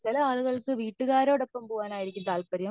ചില ആളുകൾക്കു വീട്ടുകാരോട് ഒപ്പം പോവാൻ ആയിരിക്കും താല്പര്യം